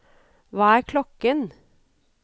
hva er klokken